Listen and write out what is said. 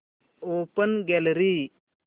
open gallery